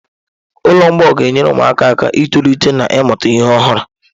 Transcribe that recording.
Ụlọ mgbei ga-enyere ụmụaka aka itolite na ịmụta ihe ọhụrụ.